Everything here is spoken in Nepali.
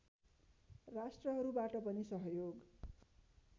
राष्ट्रहरूबाट पनि सहयोग